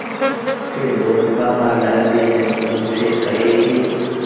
फिर दोस्ताना लहजे में उनसे कहें कि